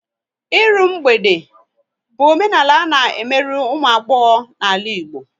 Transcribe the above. Ịrụ mgbede bụ omenala a na emerụ ụmụ agbọghọ n'ala Igbo